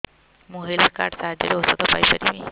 ମୁଁ health card ସାହାଯ୍ୟରେ ଔଷଧ ପାଇ ପାରିବି